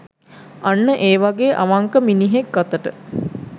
අන්න ඒ වගේ අවංක මිනිහෙක් අතට